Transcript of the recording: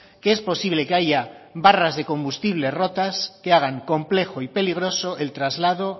que es posible que haya barras de combustible rotas que hagan complejo y peligroso el traslado